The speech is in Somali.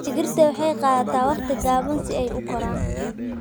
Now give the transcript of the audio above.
Digirta waxay qaadataa waqti gaaban si ay u koraan.